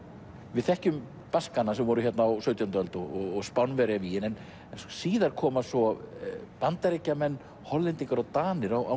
við þekkjum Baskana sem voru hér á sautjándu öld og Spánverjavígin en síðar koma svo Bandaríkjamenn Hollendingar og Danir á